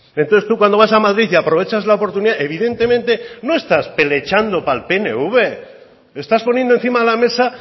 entonces tú cuando vas a madrid y aprovechas la oportunidad evidentemente no está pelechando para el pnv estás poniendo encima de la mesa